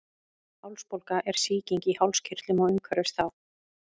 Hálsbólga er sýking í hálskirtlum og umhverfis þá.